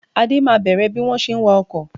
Ade máa bẹ̀rẹ̀ bí wọ́n ṣe ń wá ọkọ